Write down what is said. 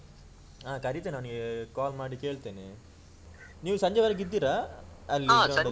ಹಾ ಕರಿತೇನೆ ಅವ್ನಿಗೆ call ಮಾಡಿ ಕೇಳ್ತೇನೆ ನೀವ್ ಸಂಜೆಯವರಿಗೆ ಇದ್ದೀರಾ ಅಲ್ಲಿ?